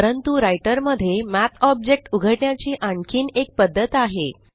परंतु राइटर मध्ये math object उघडण्याची आणखीन एक पद्धत आहे